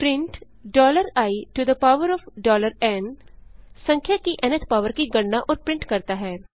print iएन संख्या की न्थ पॉवर की गणना और प्रिंट करता है